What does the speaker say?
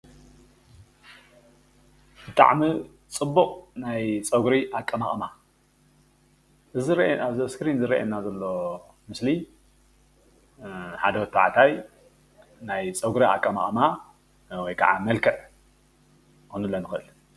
ብጣዕሚ ፅቡቕ ናይ ፀጉሪ ኣቀማቕማ እዚ ኣብዚ እስክሪን ዝርኣየና ዘሎ ምስሊ ሓደ ወዲ ተባዕታይ ናይ ፀጉሪ ኣቀማቅማ ወይ ከዓ መልክዕ ክንብሎ ንኽእል፡፡